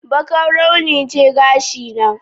Bakar launi ce gashin na